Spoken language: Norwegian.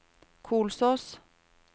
Kolsås